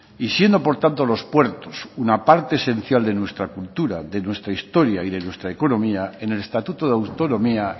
y siendo por tanto los puertos una parte esencial de nuestra cultura de nuestra historia y de nuestra economía en el estatuto de autonomía